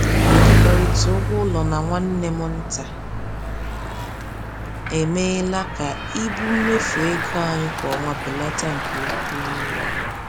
Ịkekọrịta ụgwọ ụlọ na nwanne m nta emeela ka ibu mmefu ego anyị kwa ọnwa belata nke ukwuu.